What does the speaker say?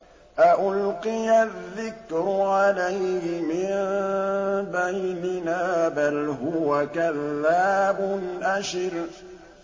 أَأُلْقِيَ الذِّكْرُ عَلَيْهِ مِن بَيْنِنَا بَلْ هُوَ كَذَّابٌ أَشِرٌ